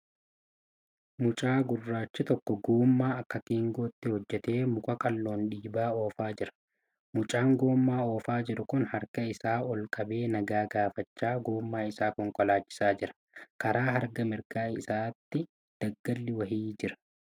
Mucaa gurraachi tokko gommaa akka geengootti hojjatee muka qalloon dhiibee oofaa jira. Mucaan gommaa oofaa jiru kun harka isaa ol qabee nagaa gaafachaa gommaa isaa konkolaachisaa jira . Karaa harka mirgaa isaatti daggalli wayii jira.